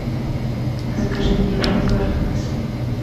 закажи мне воду архыз